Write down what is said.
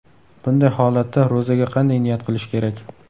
Bunday holatda ro‘zaga qanday niyat qilish kerak?